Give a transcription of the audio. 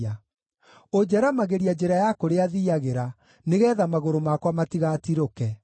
Ũnjaramagĩria njĩra ya kũrĩa thiiagĩra, nĩgeetha magũrũ makwa matigatirũke.